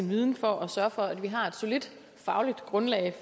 viden for at sørge for at vi har et solidt fagligt grundlag